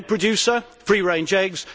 I am an egg producer free range eggs.